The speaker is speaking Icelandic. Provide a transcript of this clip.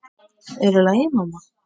Er allt í lagi, mamma?